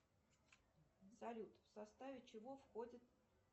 салют в составе чего входит